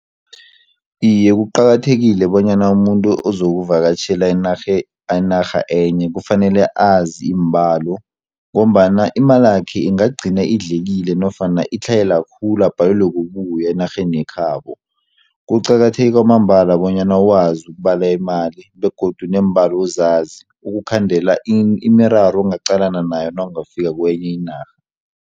Iye, kuqakathekile bonyana umuntu ozokuvakatjhela enarha enye kufanele azi iimbalo ngombana imalakhe ingagcina idlekile nofana itlhayela khulu abhalelwe kubuya enarheni yekhabo. Kuqakatheke kwamambala bonyana wazi ukubala imali begodu neembalo uzazi ukukhandela imiraro ongaqalana nayo nawungafika kwenye inarha.